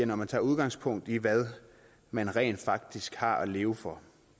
når man tager udgangspunkt i hvad man rent faktisk har at leve for